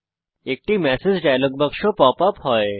একটি message dialogue বাক্স pop up হয়